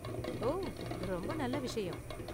ஓ! ரொம்ப நல்ல விஷயம்